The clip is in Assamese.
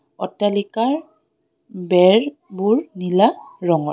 অট্টালিকাৰ বেৰ বোৰ নীলা ৰঙৰ.